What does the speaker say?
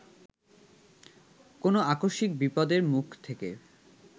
কোনো আকস্মিক বিপদের মুখ থেকে